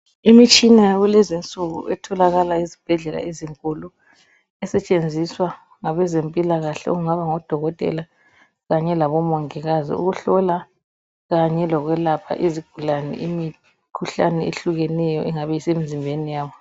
Imitshina yakulezinsuku etholakala ezibhedlela ezinkulu esetshenziswa ngabezempilakahle okungaba ngodokotela kanye labomongikazi ukuhlola kanye lokwelapha izigulane imikhuhlane ehlukeneyo engabe isemzimbeni yabo.